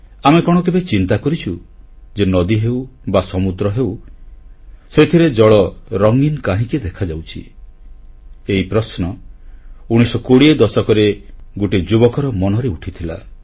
ଆମେ କଣ କେବେ ଚିନ୍ତା କରିଛୁ ଯେ ନଦୀ ହେଉ ବା ସମୁଦ୍ର ହେଉ ସେଥିରେ ଜଳ ରଙ୍ଗିନ କାହିଁକି ଦେଖାଯାଉଛି ଏହି ପ୍ରଶ୍ନ 1920 ଦଶକରେ ଗୋଟିଏ ଯୁବକର ମନରେ ଉଠିଥିଲା